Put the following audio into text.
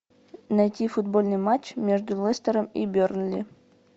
найти футбольный матч между лестером и бернли